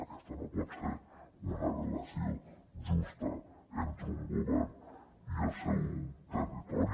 aquesta no pot ser una relació justa entre un govern i el seu territori